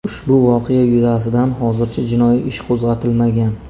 Ushbu voqea yuzasidan hozircha jinoiy ish qo‘zg‘atilmagan.